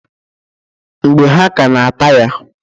Mgbe ha ka na ata ya.